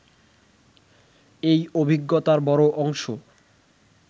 এই অভিজ্ঞতার বড় অংশ